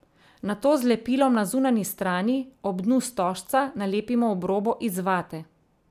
Nato z lepilom na zunanji strani, ob dnu stožca, nalepimo obrobo iz vate.